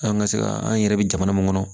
An ka se ka an yɛrɛ bɛ jamana mun kɔnɔ